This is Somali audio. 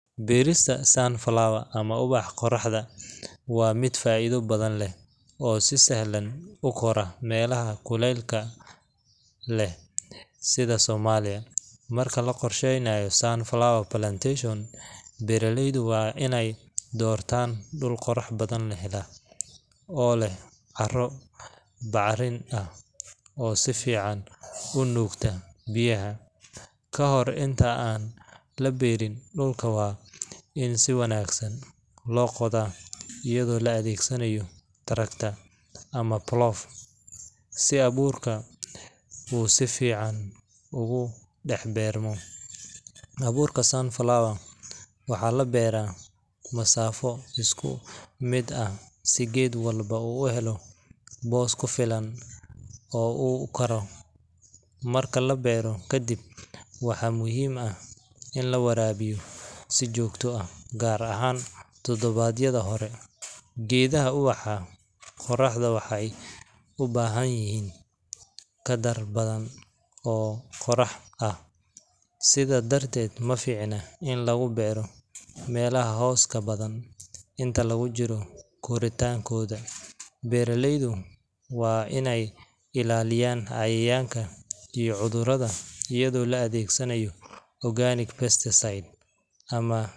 Berista sunflower ama ubaxa qoraxda waa miid faidha badan leh oo si sahlan ukora melaha kulelka leh sitha somalia, marki laqorsheynayo sunflower plantation beera leydu waa in ee dortan dul qorax badan leh oo leh Carin oo si fican u nukta biyaha, kahore inta aa laberin dulka waa in si wanagsan lo qodha iyadha oo la adhegsanayo tractor plough si aburka u si fican uga dax aburmo, aburka sunflower waxaa labera masafo isku miid ah si geedka u helo bos ku filan oo u ukaro, marka labero kadiib waxaa muhiim ah in la warabiyo biyaha si jogto ah gar ahan tadawaad yadha hore, geedha ubaxa qoraxda waxee u bahan yihin kadar badan oo qorax ah sitha darteed maficna in lagu beero melaha hoska badan inta lagu jiro guritankodha beera leydu waa in ee ilaliyan cayayanka iyo cudhuradaa iyaga oo adhegsanaya organic best site